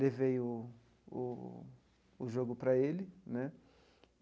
Levei o o o jogo para ele né.